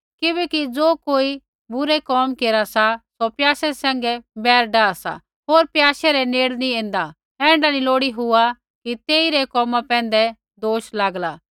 किबैकि ज़ो कोई बुरा केरा सा सौ प्याशे सैंघै वैर डाह सा होर प्याशे रै नेड़े नेंई ऐन्दा ऐण्ढा नी हुआ लोड़ी कि तेई रै कोमा पैंधै दोष लागला